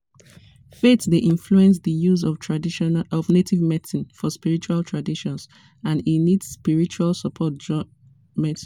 faith dey influence di use of native medicine for spiritual traditions and e need spiritual support join medicine.